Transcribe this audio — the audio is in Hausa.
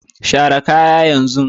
share kaya yanzu!